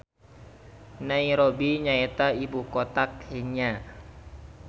Nairobi nyaeta ibukota Kenya.